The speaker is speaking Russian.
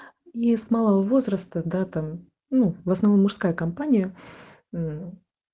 и с малого возраста да там ну в основном мужская компания мм